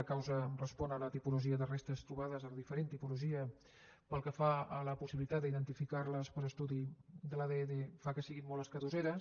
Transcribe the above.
la causa respon a la tipologia de restes trobades a la diferent tipologia pel que fa a la possibilitat d’identificarles per estudi de l’adn fa que siguin molt escadusseres